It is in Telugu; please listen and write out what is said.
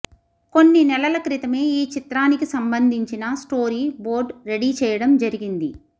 కొన్ని నెలల క్రితమే ఈ చిత్రానికి సంబంధించిన స్టోరీ బోర్డ్ రెడీ చెయ్యడం జరిగింది